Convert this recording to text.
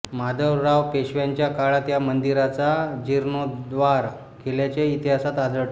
माधवराव पेशव्यांच्या काळात या मंदिराचा जीर्णोद्धार केल्याचे इतिहासात आढळते